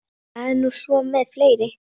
Það er nú svo með fleiri.